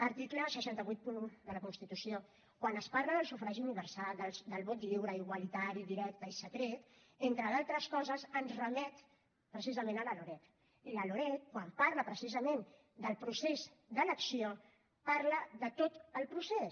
article sis cents i vuitanta un de la constitució quan es parla del sufragi universal del vot lliure igualitari directe i secret entre d’altres coses ens remet precisament a la loreg i la loreg quan parla precisament del procés d’elecció parla de tot el procés